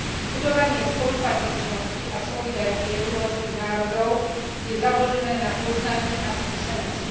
Budovanie spolupatričnosti a solidarity európskych národov je založené na poznaní a skúsenosti.